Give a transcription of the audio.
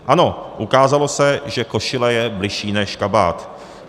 Ano, ukázalo se, že košile je bližší než kabát.